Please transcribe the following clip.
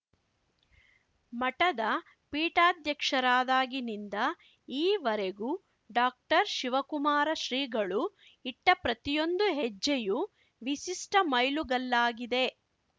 ಮಠದ ಪೀಠಾಧ್ಯಕ್ಷರಾದಾಗಿನಿಂದ ಈವರೆಗೂ ಡಾಕ್ಟರ್ಶಿವಕುಮಾರ ಶ್ರೀಗಳು ಇಟ್ಟಪ್ರತಿಯೊಂದು ಹೆಜ್ಜೆಯೂ ವಿಶಿಷ್ಟಮೈಲುಗಲ್ಲಾಗಿದೆ